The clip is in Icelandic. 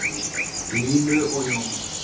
Línu og Jón.